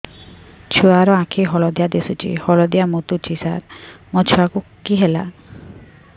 ଛୁଆ ର ଆଖି ହଳଦିଆ ଦିଶୁଛି ହଳଦିଆ ମୁତୁଛି ସାର ମୋ ଛୁଆକୁ କି ହେଲା